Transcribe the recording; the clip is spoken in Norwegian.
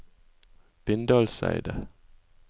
Bindalseidet